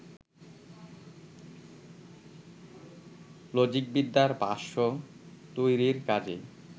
লজিকবিদ্যার ভাষ্য তৈরির কাজেই